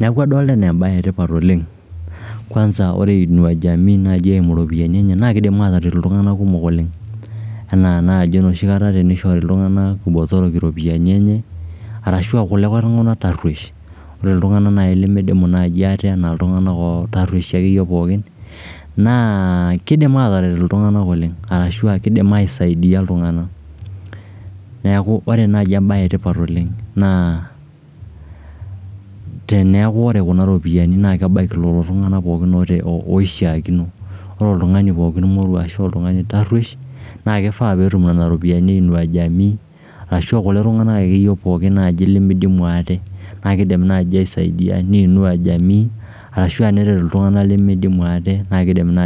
Neeku adolita enaa embae etipat oleng. kwanza ore Inua Jamii naaji eimu iropiyiani enche naa kiidim ataret iltung'anak kumok oleng enaa naji tenishori iltung'anak botorok iropiyiani enye, arashu kulikae tung'anak tarruesh. Ore iltung'anak lemidimu naaji ate enaa iltung'anak tarruesh akeyie pookin naa kiidim ataret iltung'anak oleng ashu kidim aisaidia iltung'anak. Neeku ore naai embae etipat oleng naa teneekunore kuna ropiyiani naa kebaiki lelo tung'anak pooki oishiakino. Ore oltung'ani pookin morwo ashu oltarruesh na kifaa peetum nena ropiyiani ashu kulie tung'anak akeyie naai lemidimu ate. Naa kiidim naai aisaidia ne Inua jamii ashu neret iltung'anak lemeidimu ate naa kiidim naai